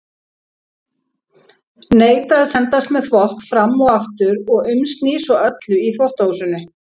Neita að sendast með þvott fram og aftur og umsný svo öllu í þvottahúsinu.